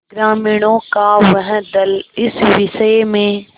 ग्रामीणों का वह दल इस विषय में